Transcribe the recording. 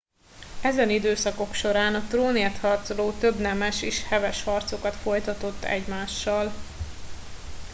ezen időszakok során a trónért harcoló több nemes is heves harcokat folytatott egymással